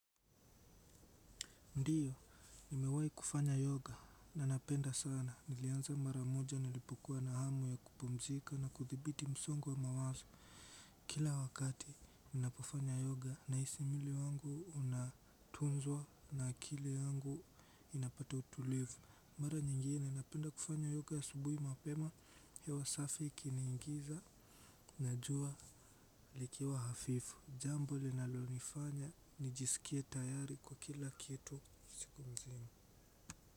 Ndiyo nimewahi kufanya yoga na napenda sana. Nilianza mara moja nilipokuwa na hamu ya kupumzika na kuthibiti msongo wa mawazo kila wakati ninapofanya yoga nahisi mwili wangu unatunzwa na akili wangu inapata utulivu mara nyingine napenda kufanya yoga asubuhi mapema hewa safi ikiniingiza na jua likiwa hafifu jambo linalonifanya nijisikie tayari kwa kila kitu siku mzima.